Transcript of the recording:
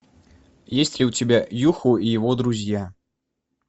есть ли у тебя юху и его друзья